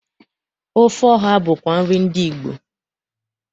Ofe ọha bụkwa nri ndị Igbo.